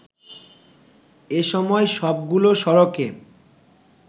এসময় সবগুলো সড়কে